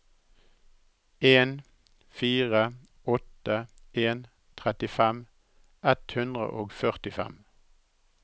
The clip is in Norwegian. en fire åtte en trettifem ett hundre og førtifem